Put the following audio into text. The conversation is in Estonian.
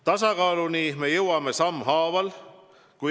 Tasakaaluni me jõuame sammhaaval.